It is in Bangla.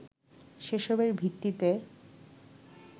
সেসবের ভিত্তিতে